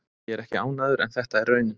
Ég er ekki ánægður en þetta er raunin.